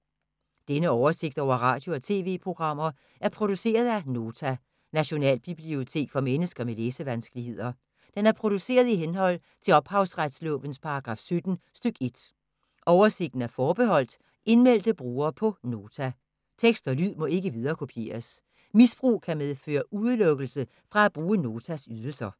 Denne oversigt over radio og TV-programmer er produceret af Nota, Nationalbibliotek for mennesker med læsevanskeligheder. Den er produceret i henhold til ophavsretslovens paragraf 17 stk. 1. Oversigten er forbeholdt indmeldte brugere på Nota. Tekst og lyd må ikke viderekopieres. Misbrug kan medføre udelukkelse fra at bruge Notas ydelser.